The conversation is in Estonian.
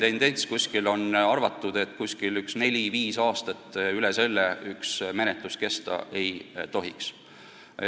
Üldiselt on arvatud, et üle nelja-viie aasta üks menetlus kesta ei tohiks.